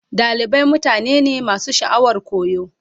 Dalibai mutane ne masu sha'awar koyo.